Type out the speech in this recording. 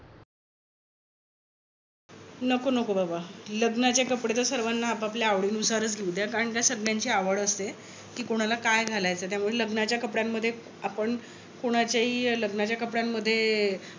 नको नको बाबा. लग्नाचे कपडे तर सर्वाना आपापल्या आवडीनुसारच घेवू द्या. कारण काय सगळ्यांची आवड असते. कि कोणाला काय घालायचं. त्यामुळे लग्नाच्या कपड्यानमध्ये आपण कोणाच्याही लग्नाच्या कपड्यानमध्ये